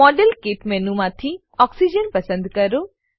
model kit મેનુમાંથી oxygen પસંદ કરો